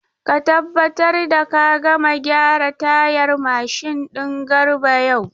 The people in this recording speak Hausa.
Ka tabbatar da ka gama gyaran tayar mashin din Garba yau!